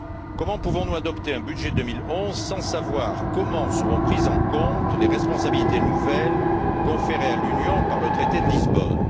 Comment pouvons nous adopter un budget 2011 sans savoir comment seront prises en compte les responsabilités nouvelles conférées à l'Union par le traité de Lisbonne?